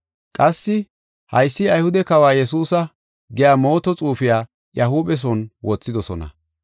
Qassi, “Haysi Ayhude Kawa Yesuusa” giya mooto xuufiya iya huuphe son wothidosona.